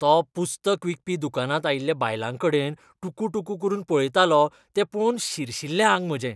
तो पुस्तक विकपी दुकानांत आयिल्ल्या बायलांकडेन टुकूटुकू करून पळयतालो तें पळोवन शिरशिल्लें आंग म्हजें.